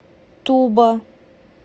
туба